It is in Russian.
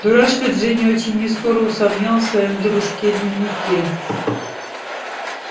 дурашка джинни очень нескоро усомнилась в своём дружке-дневнике